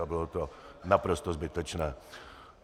A bylo to naprosto zbytečné.